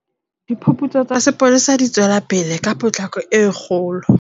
Diphuputso tsa sepolesa di tswelapele ka potloko e kgolo.